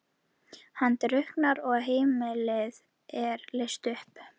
Hann drukknar og heimilið er leyst upp.